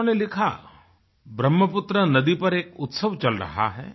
उन्होंने लिखा ब्रहमपुत्र नदी पर एक उत्सव चल रहा है